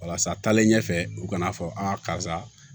Walasa taalen ɲɛfɛ u kana fɔ karisa